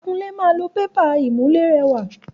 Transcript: Akunlé máa lo pépà ìmùlérẹwà.